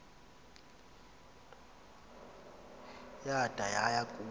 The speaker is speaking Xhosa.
yada yaya kuma